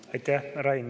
Aitäh, Rain!